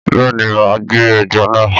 Bẹ́ẹ̀ ni, mà á gbẹ ẹja náà.